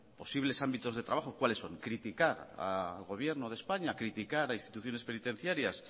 posibles ámbitos de trabajo cuáles son criticar al gobierno de españa criticar a instituciones penitenciarias